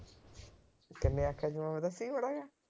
ਕਿੰਨੇ ਆਖਿਆ ਸੀ ਮੈਂ। ਦੱਸੀ ਮਾੜਾ ਜਾ।